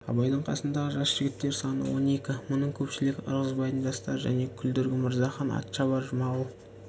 абайдың қасындағы жас жігіттер саны он екі мұның көпшілігі ырғызбайдың жастары және күлдіргі мырзахан атшабар жұмағұл